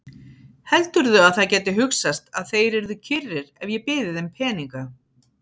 Heldurðu að það gæti hugsast að þeir yrðu kyrrir ef ég byði þeim peninga?